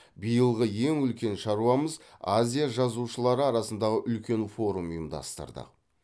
биылғы ең үлкен шаруамыз азия жазушылары арасындағы үлкен форум ұйымдастырдық